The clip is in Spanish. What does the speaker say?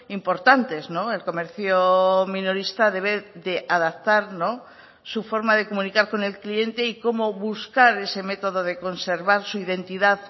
importantes el comercio minorista debe de adaptar su forma de comunicar con el cliente y cómo buscar ese método de conservar su identidad